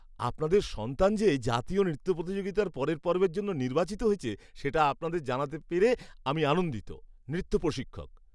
আপনাদের সন্তান যে জাতীয় নৃত্য প্রতিযোগিতার পরের পর্বের জন্য নির্বাচিত হয়েছে সেটা আপনাদের জানাতে পেরে আমি আনন্দিত। নৃত্য প্রশিক্ষক